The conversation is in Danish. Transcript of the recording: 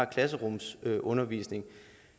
klasserumsundervisning